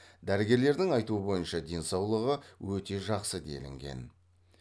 дәрігерлердің айтуы бойынша денсаулығы өте жақсы делінген